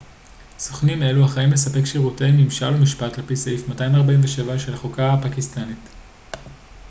סוכנים אלו אחראים לספק שירותי ממשל ומשפט על פי סעיף 247 של החוקה הפקיסטנית